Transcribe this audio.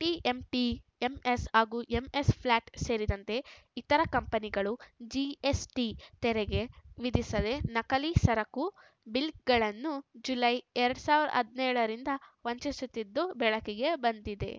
TMT MS ಹಾಗೂ MS flat ಸೇರಿದಂತೆ ಇತರ ಕಂಪನಿಗಳು ಜಿಎಸ್‌ಟಿ ತೆರೆಗೆ ವಿಧಿಸದೆ ನಕಲಿ ಸರಕು ಬಿಲ್‌ಗಳನ್ನು ಜುಲೈ ಎರಡ್ ಸಾವಿರದ ಹದಿನೇಳರಿಂದ ವಂಚಿಸುತ್ತಿದ್ದುದು ಬೆಳಕಿಗೆ ಬಂದಿದೆ